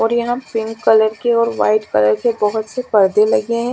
और यहाँ pink colour के वाईट कलर के बहुत से पर्दे लगे है।